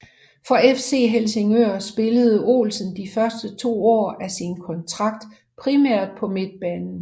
For FC Helsingør spillede Olsen de første to år af sin kontrakt primært på midtbanen